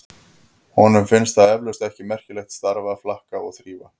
Honum finnst það eflaust ekki merkilegt starf að flaka og þrífa.